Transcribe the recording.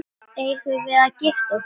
Eigum við að gifta okkur?